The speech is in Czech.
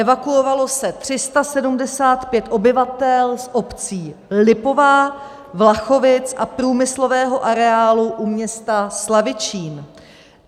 Evakuovalo se 375 obyvatel z obcí Lipová, Vlachovice a průmyslového areálu u města Slavičín.